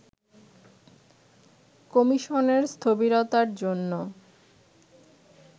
কমিশনের স্থবিরতার জন্য